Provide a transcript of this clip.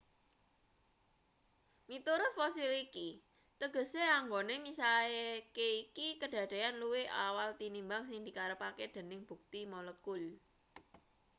"miturut fosil iki tegese anggone misahke iki kadadeyan luwih awal tinimbang sing dikarepke dening bukti molekul.